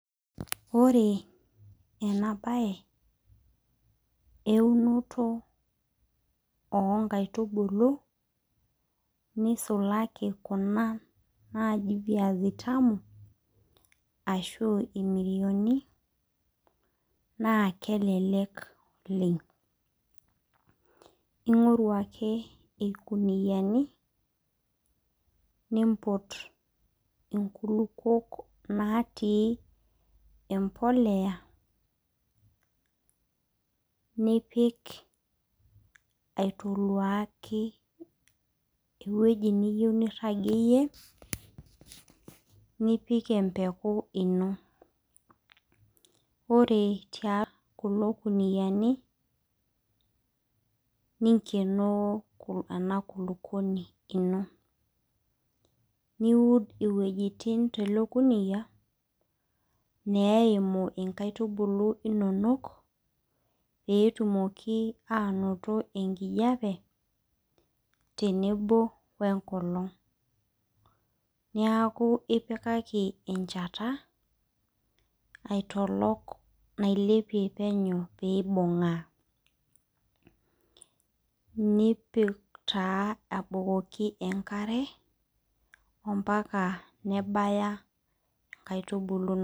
Ore enabae eunoto onkaitubulu, nisulaki kuna naji viazi tamu, ashu irmirioni, naa kelelek oleng. Ing'oru ake irkuniyiani, nimput inkulukuok natii empolea, nipik aitoluaki ewueji niyieu nirragieyie, nipik empeku ino. Ore kulo kuniyiani, ningenoo ena kulukuoni ino. Niud iwuejiting tele kuniyia, neimu inkaitubulu inonok, petumoki anoto enkijape, tenebo wenkolong'. Niaku ipikaki enchata, aitolok nailepie penyo pibung'aa. Nipik taa abukoki enkare, ompaka nebaya inkaitubulu